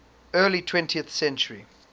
early twentieth century